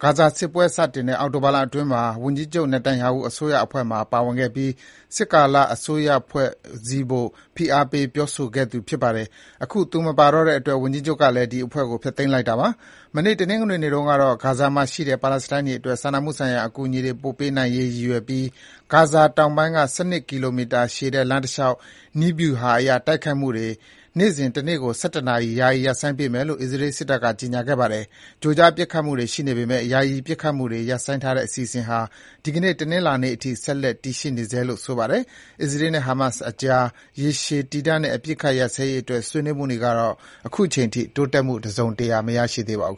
ဟာ ဂါဇာစစ်ပွဲစတင်တဲ့ အောက်တိုဘာလအတွင်းမှာ ဝန်ကြီးချုပ် Netanyahu အစိုးရအဖွဲ့မှာ ပါဝင်ခဲ့ပြီး စစ်ကာလ အစိုးအဖွဲ့ ဖွဲ့စည်းဖို့ ဖိအားပေး ပြောဆိုခဲ့သူပါ။ အခု သူမပါတော့တဲ့အတွက် ဝန်ကြီးချုပ်ကလည်း ဒီအဖွဲ့ကို ဖျက်သိမ်းလိုက်တာ ဖြစ်ပါတယ်။ မနေ့ တနင်္ဂနွေနေ့တုန်းကတော့ ဂါဇာမှာရှိတဲ့ ပါလက်စတိုင်းတွေအတွက် စာနာမှုဆိုင်ရာ အကူအညီတွေ ပို့ပေးနိုင်ရေးအတွက် ရည်ရွယ်ပြီး ဂါဇာတောင်ပိုင်းက ၁၂ ကီလိုမီတာရှည်တဲ့ လမ်းတလျှောက် နည်းဗျုဟာအရ တိုက်ခိုက်မှုတွေ နေ့စဉ် တနေ့ကို ၁၁ နာရီ ယာယီ ရပ်ဆိုင်းပေးမယ်လို့ အစ္စရေးစစ်တပ်က ကြေညာခဲ့ပါတယ်။ ကြိုကြားပစ်ခတ်မှုတွေ ရှိနေပေမယ့် ယာယီပစ်ခတ်မှုတွေ ရပ်ဆိုင်းထားတဲ့ အစီအစဉ်ဟာ ဒီကနေ့ တနင်္လာနေ့အထိ ဆက်လက် တည်ရှိနေဆဲလို့ ဆိုပါတယ်။ အစ္စရေးနဲ့ ဟာမတ်စ်အကြား ရေရှည်တည်တန့်တဲ့ အပစ်အခတ်ရပ်စဲရေးအတွက် ဆွေးနွေးမှုတွေကတော့ အခုချိန်ထိ တိုးတက်မှု တစုံတရာ မရသေးပါဘူး